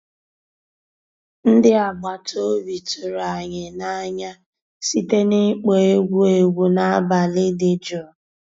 Ndị́ àgbàtà òbí tụ̀rụ̀ ànyị́ n'ànyá síté n'ị́kpọ́ égwu égwu n'àbàlí dị́ jụ́ụ́.